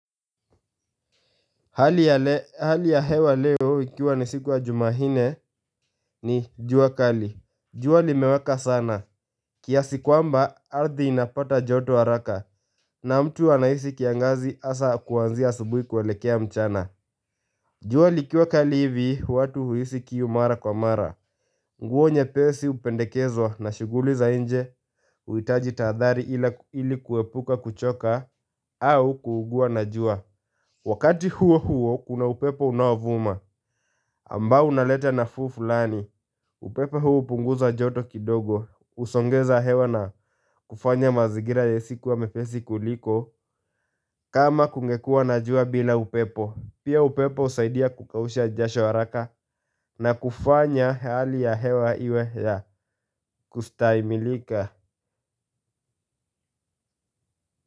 Hali ya hewa leo ikiwa ni siku ya Jumanne ni jua kali jua limeweka sana kiasi kwamba ardhi inapata joto haraka na mtu anahisi kiangazi hasa kwa anzia asubuhi kuwelekea mchana jua likiwa kali hivi watu huhisi kiu mara kwa mara nguo nyepesi hupendekezwa na shughuli za inje. Huitaji tadhari ili kuwepuka kuchoka au kuugua na jua wakati huo huo kuna upepo unaovuma ambao unaleta nafuu fulani. Upepo huu upunguza joto kidogo. Husongeza hewa na kufanya mazingira ya hisi kuwa mwepesi kuliko. Kama kungekua na jua bila upepo. Pia upepo husaidia kukausha jasho haraka na kufanya hali ya hewa iwe ya kustahimilika.